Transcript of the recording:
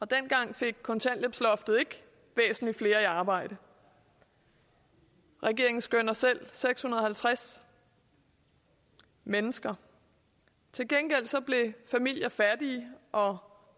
dengang fik kontanthjælpsloftet ikke væsentlig flere i arbejde regeringen skønner selv seks hundrede og halvtreds mennesker til gengæld blev familier fattige og